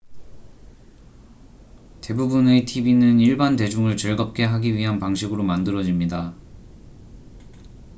대부분의 tv는 일반 대중을 즐겁게 하기 위한 방식으로 만들어집니다